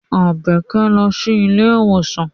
Àbẹ̀kẹ́ lọ sí ilé ìwòsàn.